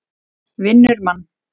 Vinnur mann.